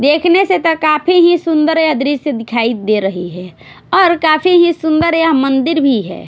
देखने से तो काफी ही सुंदर यह दृश्य दिखाई दे रही है और काफी ही सुंदर या मंदिर भी है।